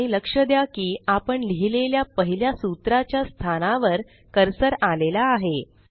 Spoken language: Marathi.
आणि लक्ष द्या कीआपण लिहिलेल्या पहिल्या सूत्रा च्या स्थानावर कर्सर आलेला आहे